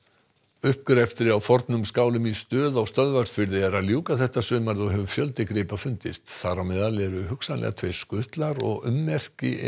uppgrefti á fornum skálum í Stöð á Stöðvarfirði er að ljúka þetta sumarið og hefur fjöldi gripa fundist þar á meðal eru hungsanlega tveir skutlar og ummerki